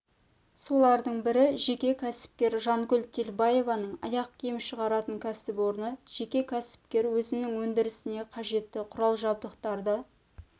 солардың бірі жеке кәсіпкер жангүл телбаеваның аяқ киім шығаратын кәсіпорны жеке кәсіпкер өзінің өндірісіне қажетті құрал-жабдықтарды